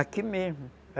Aqui mesmo.